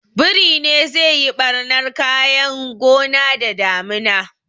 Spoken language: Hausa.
Biri ne zai yi ɓarnan kayan gona da damina